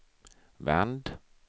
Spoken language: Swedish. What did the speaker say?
vänd